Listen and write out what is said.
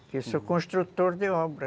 Eu sou construtor de obras.